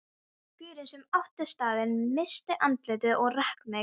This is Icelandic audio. Gaurinn sem átti staðinn missti andlitið og rak mig.